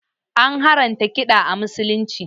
An haramta kiɗa a musulunci